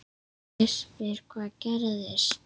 Ég spyr hvað gerðist?